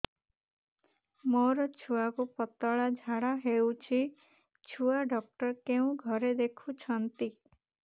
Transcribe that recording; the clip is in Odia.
ମୋର ଛୁଆକୁ ପତଳା ଝାଡ଼ା ହେଉଛି ଛୁଆ ଡକ୍ଟର କେଉଁ ଘରେ ଦେଖୁଛନ୍ତି